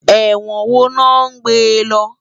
Èwòn wó lò n gbé lò?